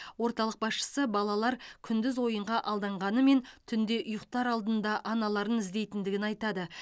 орталық басшысы балалар күндіз ойынға алданғанымен түнде ұйықтар алдында аналарын іздейтіндігін айтады